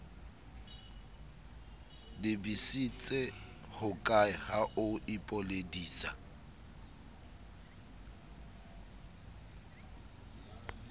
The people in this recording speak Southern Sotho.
lebisitse hokae ha o ipoledisa